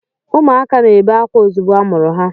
Ụmụaka na-ebe akwa ozugbo amụrụ ha.